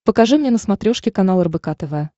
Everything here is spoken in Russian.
покажи мне на смотрешке канал рбк тв